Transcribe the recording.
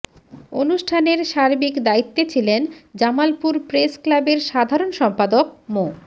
অনুষ্ঠানের সার্বিক দায়িত্বে ছিলেন জামালপুর প্রেস ক্লাবের সাধারণ সম্পাদক মো